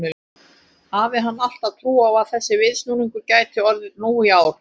Hafði hann alltaf trú á að þessi viðsnúningur gæti orðið nú í ár?